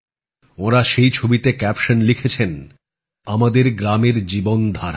ওঁরা সেই ছবিতে ক্যাপশন লিখেছেন আমাদের গ্রামের জীবন ধারা